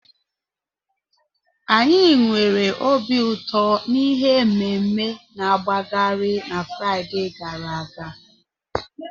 Anyị nwere obi ụtọ na ihe ememe-na-agbagharị na Fraịde gara aga.